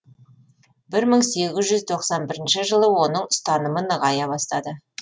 бір мың сегіз жүз тоқсан бірінші жылы оның ұстанымы нығая бастады